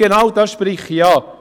Genau das spreche ich an.